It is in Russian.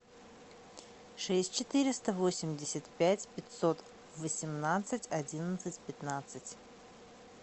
шесть четыреста восемьдесят пять пятьсот восемнадцать одиннадцать пятнадцать